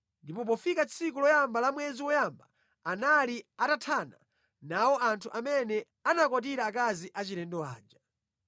Ndipo pofika tsiku loyamba la mwezi woyamba anali atathana nawo anthu amene anakwatira akazi achilendo aja.